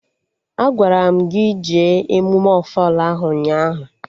Agwara m gị jee emụme ofala ahụ ụnyaahụ!